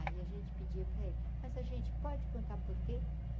Aí a gente pedia pra ele, mas a gente pode contar por quê?